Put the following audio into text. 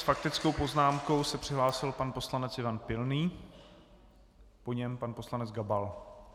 S faktickou poznámkou se přihlásil pan poslanec Ivan Pilný, po něm pan poslanec Gabal.